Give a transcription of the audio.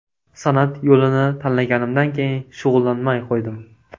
San’at yo‘lini tanlaganimdan keyin shug‘ullanmay qo‘ydim.